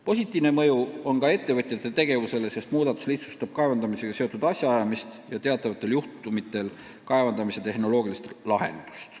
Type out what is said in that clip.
Positiivne mõju on ka ettevõtjate tegevusele, sest muudatus lihtsustab kaevandamisega seotud asjaajamist ja teatavatel juhtudel samuti kaevandamise tehnoloogilist lahendust.